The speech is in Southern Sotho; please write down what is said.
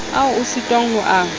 ao o sitwang ho a